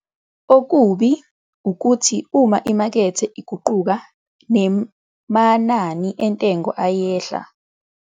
Okubi ukuthi uma imakethe iguquka nemanani entengo ayehla, bese umlimi uyalahlekelwa, nokungaba nomthelela omubi ku-cash-flow yomlimi.